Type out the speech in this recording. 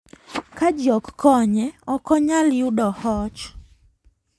Ka ji ok konye, ok onyal yudo hoch.